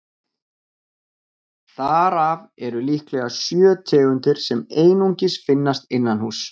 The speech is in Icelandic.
Þar af eru líklega sjö tegundir sem einungis finnast innanhúss.